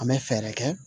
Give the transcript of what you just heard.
An bɛ fɛɛrɛ kɛ